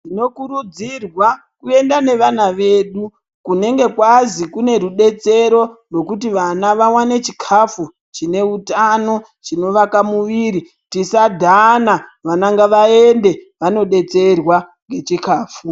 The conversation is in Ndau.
Tinokurudzirwa kuenda nevana vedu kunenge kwazi kunerudetsero rwokuti vana vawane chikafu chinehutano, chinovaka muviri. Tisadhana, vana ngavayende vanodetserwa ngechikafu.